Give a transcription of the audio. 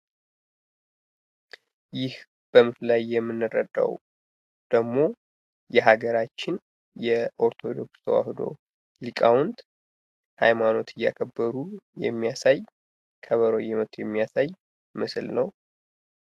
ይህ በምስሉ ላይ የምንረዳው ደግሞ የሀገራችን የኦርቶዶክስ ተዋህዶ ሊቃውንት ሀይማኖት እያከበሩ የሚያሳይ ከበሮ እየመቱ የሚያሳይ ምስሉ ነው።